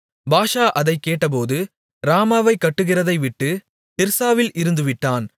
பாஷா அதைக் கேட்டபோது ராமாவைக் கட்டுகிறதைவிட்டு திர்சாவில் இருந்துவிட்டான்